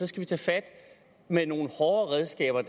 skal vi tage fat med nogle hårdere redskaber